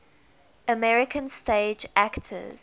american stage actors